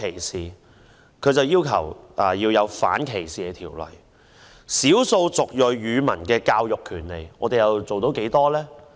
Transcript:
少數族裔人士接受本地語文教育的權利，我們又做到多少呢？